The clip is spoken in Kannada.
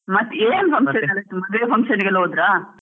ಮತ್ ಏನು ಮದ್ವೆ function ಗೆಲ್ಲಾ ಹೋದ್ರಾ?